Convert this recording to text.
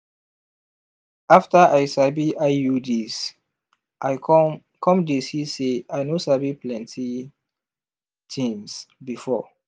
after i sabi iuds i come come dey see say i no sabi plenty tins before.